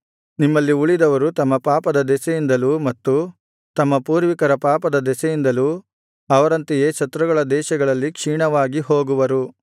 ನಿಮ್ಮಲ್ಲಿ ಉಳಿದವರು ತಮ್ಮ ಪಾಪದ ದೆಸೆಯಿಂದಲೂ ಮತ್ತು ತಮ್ಮ ಪೂರ್ವಿಕರ ಪಾಪದ ದೆಸೆಯಿಂದಲೂ ಅವರಂತೆಯೇ ಶತ್ರುಗಳ ದೇಶಗಳಲ್ಲಿ ಕ್ಷೀಣವಾಗಿ ಹೋಗುವರು